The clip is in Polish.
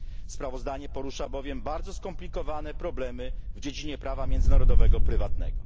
Sprawozdanie porusza, bowiem bardzo skomplikowane problemy w dziedzinie prawa międzynarodowego prywatnego.